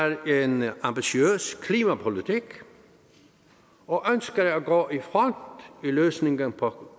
at regeringen har en ambitiøs klimapolitik og ønsker at gå i front i løsningen på